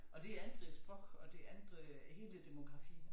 Og det ændrede æ sproch og det ændrede hele æ demografi